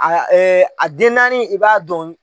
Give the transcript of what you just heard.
A a den naani i b'a dɔn.